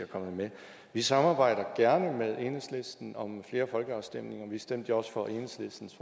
kommet med vi samarbejder gerne med enhedslisten om flere folkeafstemninger vi stemte jo også for enhedslistens